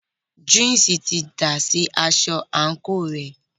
Júùsí ti dà sí aṣọ àńkò rẹ̀.